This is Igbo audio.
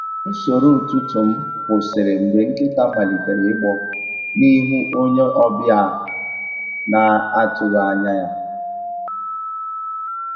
Usoro ụtụtụ m kwụsịrị mgbe nkịta malitere igbọ n’ihu onye ọbịa a na-atụghị anya ya.